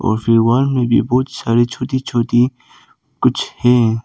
और फिर वॉल में भी बहुत सारी छोटी छोटी कुछ है।